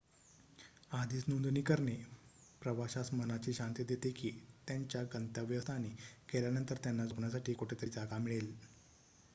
आधीच नोंदणी करणे प्रवाशास मनाची शांती देते की त्यांच्या गंतव्य स्थानी गेल्यानंतर त्यांना झोपण्यासाठी कुठेतरी जागा मिळेल